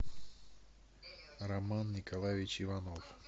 роман николаевич иванов